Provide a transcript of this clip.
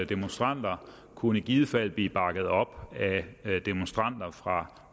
demonstranter kunne i givet fald blive bakket op af demonstranter fra